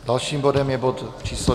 Dalším bodem je bod číslo